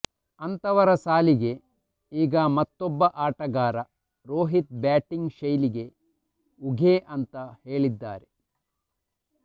ಅಂತವರ ಸಾಲಿಗೆ ಈಗ ಮತ್ತೊಬ್ಬ ಆಟಗಾರ ರೋಹಿತ್ ಬ್ಯಾಟಿಂಗ್ ಶೈಲಿಗೆ ಉಘೇ ಅಂತಾ ಹೇಳಿದ್ದಾರೆ